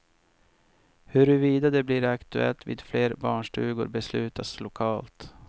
Huruvida det blir aktuellt vid fler barnstugor beslutas lokalt.